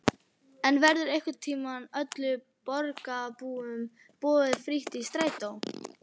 En verður einhvern tímann öllum borgarbúum boðið frítt í strætó?